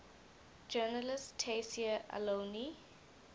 journalist tayseer allouni